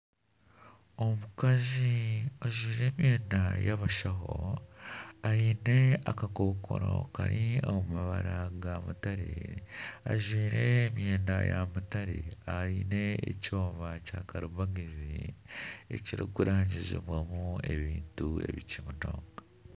Omukazi ajwire emyenda y'abashaho aine akakokoro kari omu mabara ga mutare. Ajwire emyenda ya mutare, aine ekyoma kya karimagezi ekiri kurangizibwamu ebintu bikye munonga.